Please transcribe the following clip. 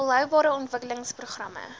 volhoubare ontwikkelings programme